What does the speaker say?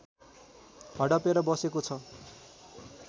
हडपेर बसेको छ